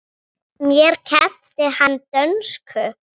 Mér kenndi hann dönsku.